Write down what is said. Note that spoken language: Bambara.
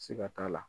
Siga t'a la